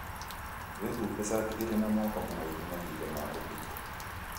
Wihumbe shati ĩrĩ na moko maraihu mahinda ma ũtukũ.